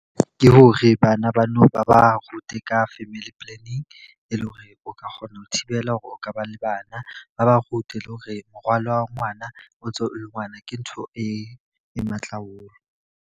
Ke hore bana nou ba ba rute ka family planning, e le hore o ka kgona ho thibela hore o ka ba le bana. Ba ba rute le hore morwalo wa ngwana o ntso le ngwana ke ntho e matla haholo.